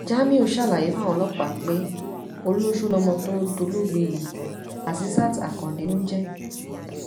jamiu ṣàlàyé fáwọn ọlọpàá pé ọlọsọ lọmọ tó dolóògbé yìí azeeet akande ló ń jẹ